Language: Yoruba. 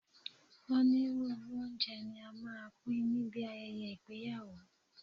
Onírúurú oúnjẹ ní a máa ń pín níbi ayẹyẹ ìgbéyàwó.